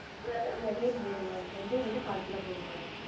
வேணா வேணும் வேணும் maam வெந்தயம் வந்து கால் கிலோ போடுங்க madam